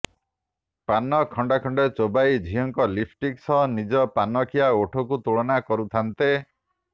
ପାନ ଖଣ୍ଡେ ଖଣ୍ଡେ ଚୋବାଇ ଝିଅଙ୍କ ଲିପଷ୍ଟିକ ସହ ନିଜ ପାନଖିଆ ଓଠକୁ ତୁଳନା କରୁଥାନ୍ତେ